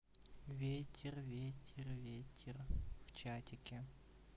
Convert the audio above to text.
ветер ветер вечер в чатике